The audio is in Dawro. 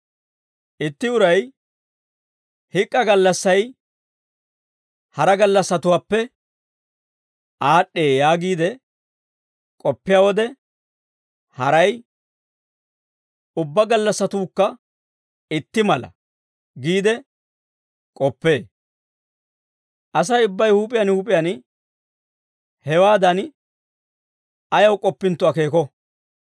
Itti uray, «Hik'k'a gallassay hara gallassatuwaappe aad'd'ee» yaagiide k'oppiyaa wode, haray, «Ubbaa gallassatuukka itti mala» giide k'oppee. Asay ubbay huup'iyaan huup'iyaan hewaadan ayaw k'oppintto akeeko.